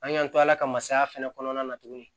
An y'an to ala ka masaya fɛnɛ kɔnɔna na tuguni